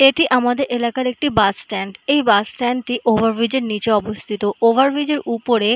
এটি আমাদের এলাকার একটি বাস স্ট্যান্ড । এই বাস স্ট্যান্ড - টি ওভারব্রিজে নিচে অবস্থিত ওভারব্রিজের উপরে--